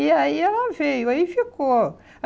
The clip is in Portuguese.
E aí ela veio, aí ficou.